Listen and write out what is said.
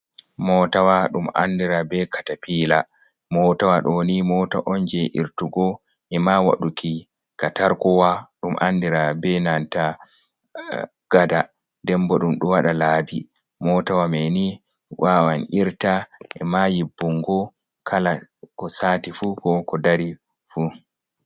Mootawa ɗum andiraa be katapiila, mootawa ɗo ni moota on je irtugo, e maa waɗuki katarkowa ɗum andiraa be nanta gada, nden bo ɗum ɗo waɗa laabi. Mootawa mai ni waawan irta, e maa yibbungo kala ko saati fu, ko ko dari fu.